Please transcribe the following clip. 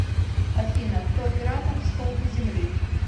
афина кто оператор столпы земли